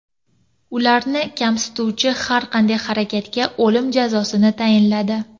Ularni kamsituvchi har qanday harakatga o‘lim jazosini tayinladi .